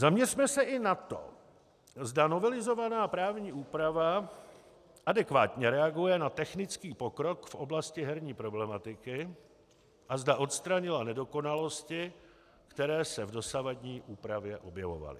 Zaměřme se i na to, zda novelizovaná právní úprava adekvátně reaguje na technický pokrok v oblasti herní problematiky a zda odstranila nedokonalosti, které se v dosavadní úpravě objevovaly.